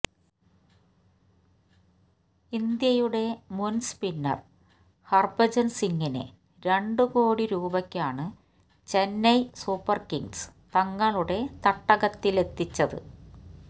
ഇന്ത്യയുടെ മുന് സ്പിന്നര് ഹര്ഭജന് സിങിനെ രണ്ടു കോടി രൂപയ്ക്കാണ് ചെന്നൈ സൂപ്പര്കിങ്സ് തങ്ങളുടെ തടകത്തിലെത്തിച്ചത്